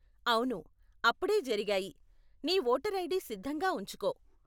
అవును, అప్పుడే జరిగాయి. నీ వోటర్ ఐడీ సిద్ధంగా ఉంచుకో.